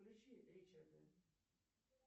включи ричарда